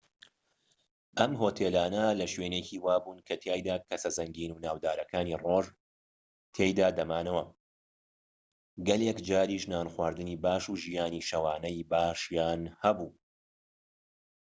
ئەم هۆتێلانە لە شوێنێکی وابوون کەتیایدا کەسە زەنگین و ناودارەکانی ڕۆژ تیایدا دەمانەوە و گەلێک جاریش نانخواردنی باش و ژیانی شەوانەی باشیان هەبوو